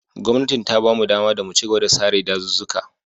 Gwamnatin ta ba mu ɗama mu chigaba da sare ɗazuzzuka.